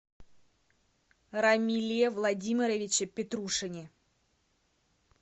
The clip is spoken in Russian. рамиле владимировиче петрушине